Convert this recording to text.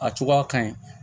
A cogoya ka ɲi